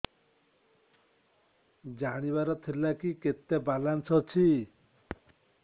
ଜାଣିବାର ଥିଲା କି କେତେ ବାଲାନ୍ସ ଅଛି